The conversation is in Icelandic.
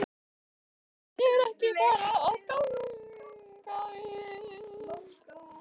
Þetta hjónaband er bara ekki að ganga upp.